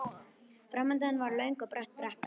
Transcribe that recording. Framundan var löng og brött brekka.